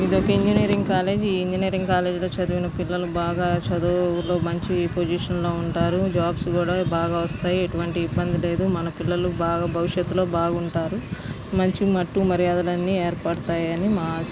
ఇదొక engineering college . ఈ engineering college లో చదివిన పిల్లలు బాగా మంచి పోసిషన్ లో ఉంటారు. జాబ్స్ కూడా బాగా వస్తాయి. ఎటువంటి ఇబంది లేద్. మన పిల్లలు బాగా భవిస్తాత్ లో బాగుంటారు. మంచి ఏర్పడతాయని మా ఆశ.